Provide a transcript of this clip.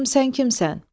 De görüm sən kimsən?